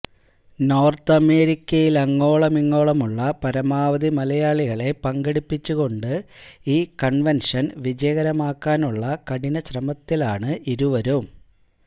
north അമേരിക്കയിലങ്ങോളമിങ്ങോളമുള്ള പരമാവധി മലയാളികളെ പങ്കെടുപ്പിച്ചുകൊണ്ട് ഈ കൺവെൻഷൻ വിജയകരമാക്കാനുള്ള കഠിനശ്രമത്തിലാണ് ഇരുവരും